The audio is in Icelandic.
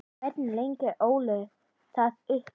Hvernig leggur Óli það upp?